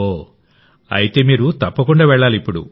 ఓహ్ ఐతే మీరు తప్పకుండా వెళ్లాలి